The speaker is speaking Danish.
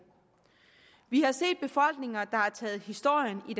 vi har set befolkninger der har taget historien i